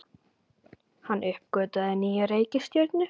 Hann uppgötvaði nýja reikistjörnu!